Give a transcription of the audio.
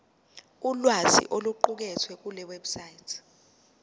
ulwazi oluqukethwe kulewebsite